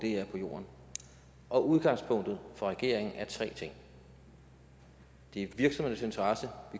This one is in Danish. er på jorden og udgangspunktet for regeringen er tre ting vi